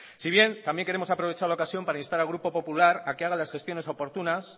si bien también queremos aprovechar la ocasión para instar al grupo popular a que haga las gestiones oportunas